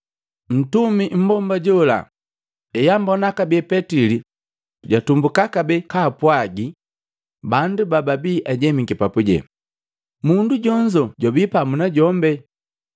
Ntumi mmbomba jola eambona kabee petili, jatumbuka kabee kapwagii bandu bababii ajemiki papuje, “Mundu jonzo jwabii pamu najombi.”